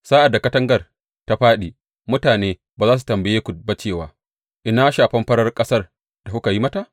Sa’ad da katangar ta fāɗi, mutane ba za su tambaye ku ba cewa, Ina shafen farar ƙasar da kuka yi mata?